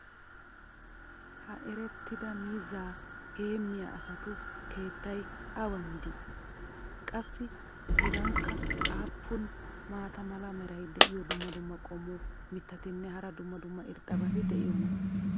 ha erettida miizzaa heemiya asatu keettay awan de'ii? qassi hegankka aappun maata mala meray diyo dumma dumma qommo mitattinne hara dumma dumma irxxabati de'iyoonaa?